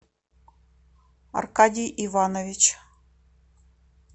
аркадий иванович